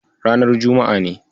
Ranar juma'a ne.